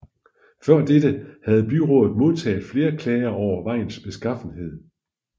Før dette havde byrådet modtaget flere klager over vejens beskaffenhed